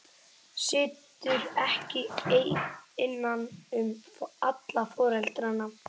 Situr ekki ein innan um alla foreldrana.